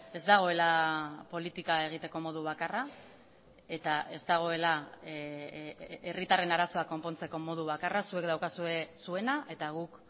ez dagoela politika egiteko modu bakarra eta ez dagoela herritarren arazoak konpontzeko modu bakarra zuek daukazue zuena eta guk